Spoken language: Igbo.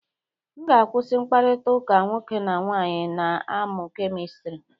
M ga-akwụsị mkpakọrịta nwoke na nwaanyị na-amụ kemistri.